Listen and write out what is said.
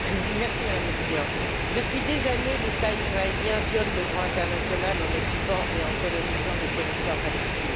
Madame la Présidente, depuis des années, l'État israélien viole le droit international en occupant et en colonisant les territoires palestiniens.